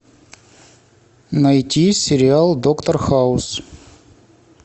найти сериал доктор хаус